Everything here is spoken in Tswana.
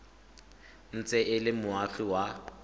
ntse e le moagi wa